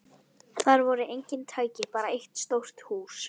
Þar voru engin tæki, bara eitt stórt hús.